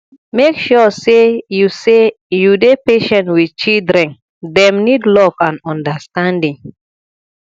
make sure sey you sey you dey patient wit children dem need love and understanding